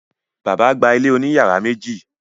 Bàbá gba ilé òní yàrá méjì.